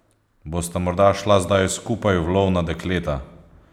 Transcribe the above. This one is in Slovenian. Bosta morda šla zdaj skupaj v lov na dekleta?